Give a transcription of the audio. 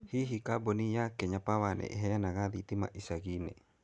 Hihi kambuni ya Kenya Power nĩ ĩheanaga thitima ĩcagi-inĩ?